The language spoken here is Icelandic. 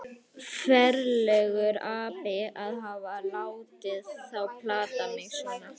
Ferlegur api að hafa látið þá plata mig svona.